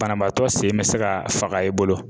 Banabaatɔ sen bɛ se ka faga i bolo.